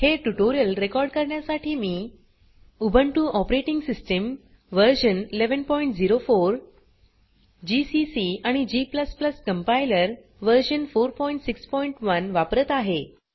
हे tutorial record करण्यासाठी मी Ubuntu operating system version 1104 GCC आणि g कंपाइलर व्हर्शन 461 वापरत आहे